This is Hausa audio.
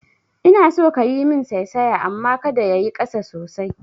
Ina so kayi min saisaya amma kada yayi ƙasa sosai